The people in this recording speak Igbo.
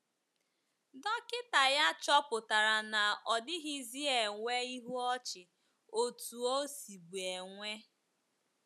Dọkịta ya chọpụtara na ọ dịghịzi enwe ihu ọchị otú o sibu enwe.